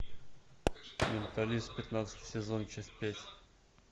менталист пятнадцатый сезон часть пять